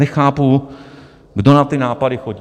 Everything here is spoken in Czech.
Nechápu, kdo na ty nápady chodí.